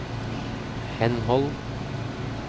henhold